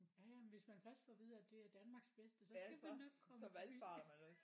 Ja ja men hvis man først får at vide at det er Danmarks bedste så skal man nok komme forbi